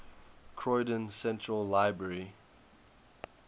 croydon central library